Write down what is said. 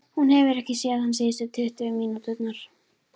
Hún hefur ekki séð hann síðustu tuttugu mínúturnar.